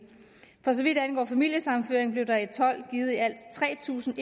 for så vidt angår familiesammenføring blev der i og tolv givet i alt tre tusind